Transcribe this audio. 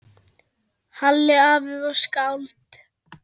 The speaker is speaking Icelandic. Halli afi var skáld.